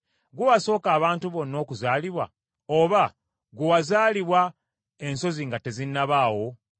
“Gwe wasooka abantu bonna okuzaalibwa? Oba ggwe wazaalibwa ensozi nga tezinnabaawo?